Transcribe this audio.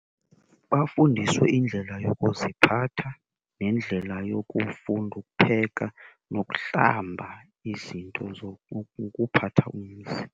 Bafundiswe indlela yokuziphatha nendlela yokufunda ukupheka nokuhlamba izinto , ukuphatha umzi.